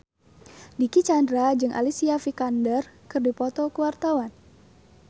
Dicky Chandra jeung Alicia Vikander keur dipoto ku wartawan